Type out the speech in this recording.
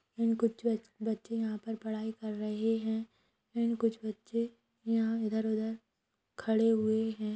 And कुछ बच-बच्चे यहाँ पर पढाई कर रहे है एंड कुछ बच्चे यहाँ इधर-उधर खड़े हुए है।